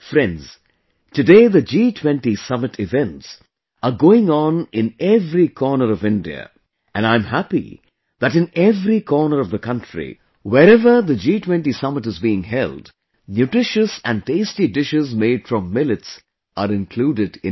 Friends, Today G20 summit events are going on in every corner of India and I am happy that in every corner of the country, wherever the G20 summit is being held, nutritious and tasty dishes made from millets are included in it